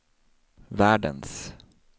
världens